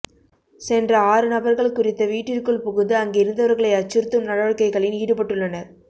சென்ற ஆறு நபர்கள் குறித்த வீட்டிற்குள் புகுந்து அங்கிருந்தவர்களை அச்சுறுத்தும் நடவடிக்கைகளில் ஈடுபட்டுள்ளனர்